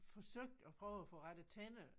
Forsøgt at prøve at få rettet tænder